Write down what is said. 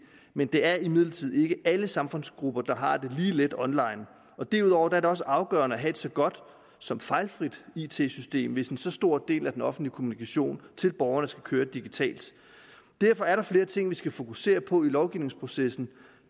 men det er imidlertid ikke alle samfundsgrupper der har det lige let online derudover er det også afgørende at have et så godt som fejlfrit it system hvis en så stor del af den offentlige kommunikation til borgerne skal køre digitalt derfor er der flere ting vi skal fokusere på i lovgivningsprocessen